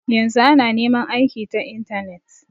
Yanzu ana neman aiki ta intanet.